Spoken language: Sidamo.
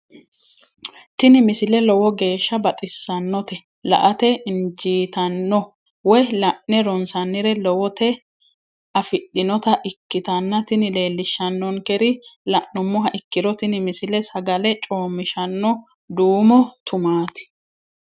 tini misile lowo geeshsha baxissannote la"ate injiitanno woy la'ne ronsannire lowote afidhinota ikkitanna tini leellishshannonkeri la'nummoha ikkiro tini misile sagale coommishanno duummo tumaati.